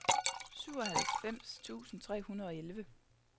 syvoghalvfems tusind tre hundrede og elleve